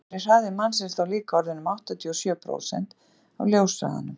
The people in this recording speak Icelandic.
reyndar væri hraði mannsins þá líka orðinn um áttatíu og sjö prósent af ljóshraðanum